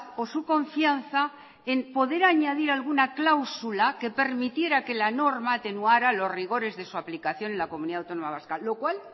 o su confianza en poder añadir alguna cláusula que permitiera que la norma atenuara los rigores de su aplicación en la comunidad autónoma vasca lo cual